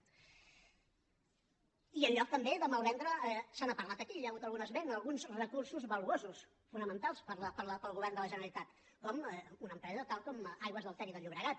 i en lloc també de malvendre se n’ha parlat aquí hi ha hagut algun esment alguns recursos valuosos fonamentals per al govern de la generalitat com una empresa tal com aigües ter llobregat